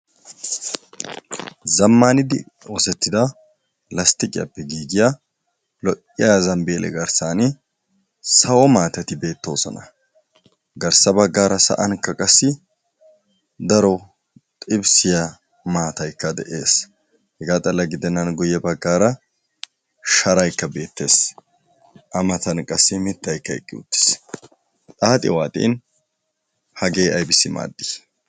Zammaanidi oosettiya lasttiqiyappe giigiya lo"iya zambbiille garssaani sawo maatati beettoosona. Garssa baggaara sa"ankka qassi daro xibisiya maataykka de"es. Hegaa xalla gidennan guyye baggaaara sharaykka beettes. A matan qassi mittaykka eqqi uttis. Xaaxi waaxin hagee aybissi maaddii?